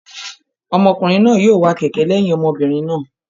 Ọmọkùnrin náà yóò wa kẹ̀kẹ́ lẹ́yìn ọmọbìnrin náà.